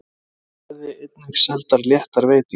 Þá verði einnig seldar léttar veitingar